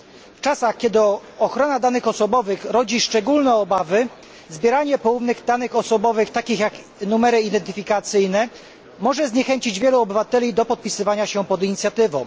W czasach, kiedy ochrona danych osobowych rodzi szczególne obawy, zbieranie poufnych danych osobowych, takich jak numery identyfikacyjne może zniechęcić wielu obywateli do podpisywania się pod inicjatywą.